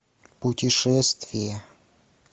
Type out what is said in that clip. путешествие